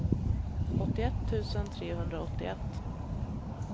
åttioett tusen trehundraåttioett